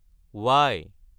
Y